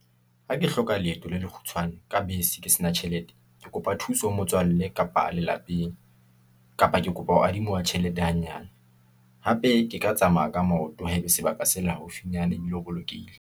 Ha ke hloka leeto le lekgutshwane, ka bese ke sena tjhelete, ke kopa thuso ho motswallle kapa lelapeng , kapa ke kopa ho adima tjhelete hanyane. Hape ke ka tsamaya ka maoto, haebe sebaka se le haufinyana, ebile ho bolokehile.